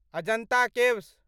Ajanta caves